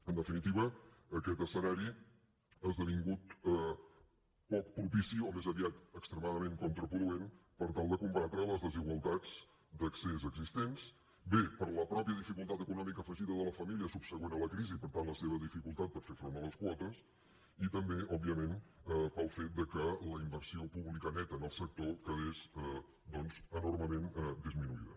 en definitiva aquest escenari ha esdevingut poc propici o més aviat extremadament contraproduent per tal de combatre les desigualtats d’accés existents bé per la pròpia dificultat econòmica afegida de la família subsegüent a la crisi per tant la seva dificultat per fer front a les quotes i també òbviament pel fet de que la inversió pública neta en el sector quedés doncs enormement disminuïda